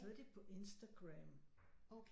Så er de på Instagram